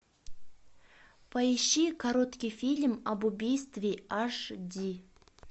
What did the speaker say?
поищи короткий фильм об убийстве аш ди